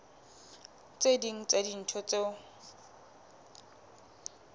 tse ding tsa dintho tseo